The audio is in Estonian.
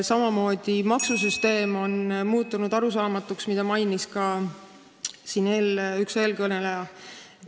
Samamoodi on arusaamatuks muutunud maksusüsteem, mida mainis siin ka üks eelkõneleja.